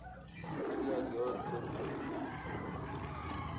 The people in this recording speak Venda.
nd ila dzot he u